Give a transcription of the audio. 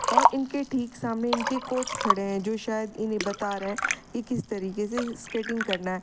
और इनके ठीक सामने इनके कोच खड़े हैं जो शायद इन्हें बता रहे हैं कि किस तरीके से स्केटिंग करना है।